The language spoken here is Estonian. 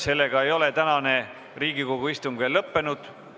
Sellega ei ole tänane Riigikogu istung veel lõppenud.